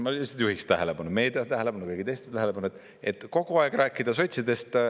Ma juhiksin tähelepanu, meedia tähelepanu, kõigi teiste tähelepanu, et kogu aeg rääkida sotsidest.